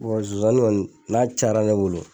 zonzani kɔni n'a cayara ne bolo